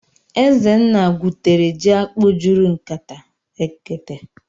Ezenna gwutere ji akpụ́ juru nkatá (ekete).